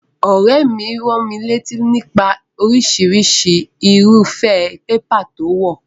Òréè mi ránmilátí nípa orísirísi irúfé paper to wò